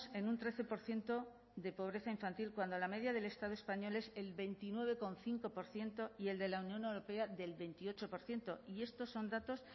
en un trece por ciento de pobreza infantil cuando la media del estado español es el veintinueve coma cinco por ciento y el de la unión europea del veintiocho por ciento y estos son datos